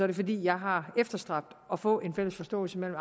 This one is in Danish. det fordi jeg har efterstræbt at få en fælles forståelse mellem